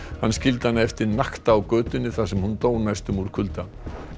hann skildi hana eftir nakta á götunni þar sem hún dó næstum úr kulda